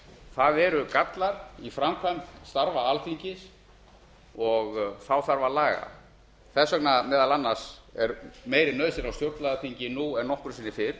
það eru gallar í framkvæmd starfa á alþingi og þá þarf að laga þess vegna meðal annars er meiri nauðsyn á stjórnlagaþingi nú en nokkru sinni fyrr